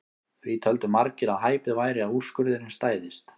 Því töldu margir að hæpið væri að úrskurðurinn stæðist.